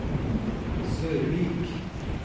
Sørvik